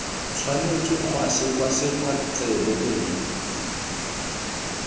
tshwanetse ga sekwasekwa tsebe nngwe